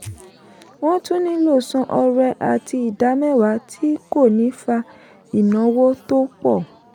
wọ́n tún nílò san ọrẹ àti ìdámẹ́wà tí kò ní fa ìnáwó tó pọ̀.